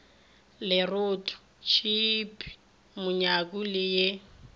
leroto theepe monyaku le ye